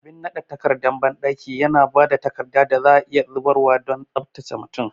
Abin nade takardar bandaki yana ba da takarda da za a iya zubarwa don tsabtace mutum.